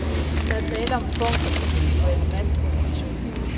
Der er tale om en form for individuel massekommunikation.